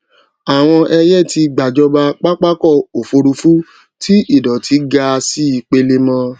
àwọn ẹyẹ tí gba jọba papako òfuurufú tí idoti ga sì pelemo